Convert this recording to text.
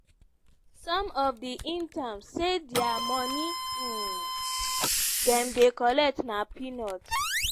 some of di interns say di money um dem dey collect na "peanuts".